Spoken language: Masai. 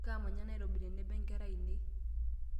Kamanya nairobi tenebo nkera ainei.